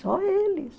Só eles.